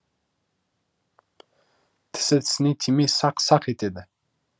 тісі тісіне тимей сақ сақ етеді